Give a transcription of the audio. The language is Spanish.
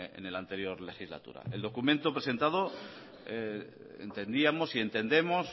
en la anterior legislatura el documento presentado entendíamos y entendemos